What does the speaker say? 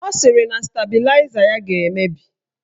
Ọ sịrị na stabịlaịza ya ga-emebi